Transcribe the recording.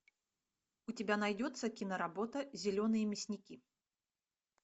у тебя найдется киноработа зеленые мясники